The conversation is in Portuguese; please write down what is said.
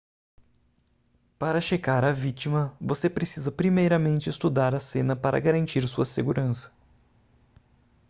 para checar a vítima você precisa primeiramente estudar a cena para garantir sua segurança